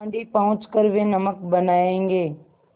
दाँडी पहुँच कर वे नमक बनायेंगे